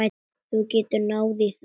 Þú getur náð í það.